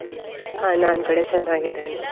ಹಾ ನಾನ್ ಕೂಡ ಚೆನ್ನಾಗಿದ್ದೇನೆ.